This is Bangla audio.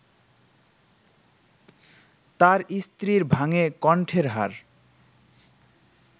তার স্ত্রীর ভাঙে কণ্ঠের হাড়